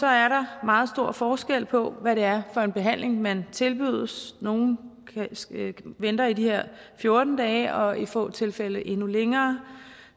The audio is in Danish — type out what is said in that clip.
er der meget stor forskel på hvad det er for en behandling man tilbydes nogle venter i de her fjorten dage og i få tilfælde endnu længere